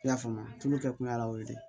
I y'a faamu tulu kɛ kun y'a la o ye dɛ